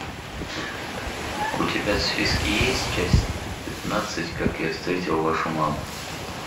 у тебя в списке есть часть пятнадцать как я встретил вашу маму